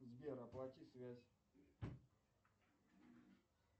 сбер оплати связь